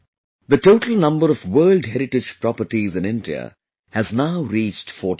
The total number of World Heritage Properties in India has now reached 42